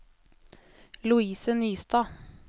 Louise Nystad